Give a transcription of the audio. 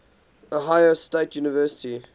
ohio state university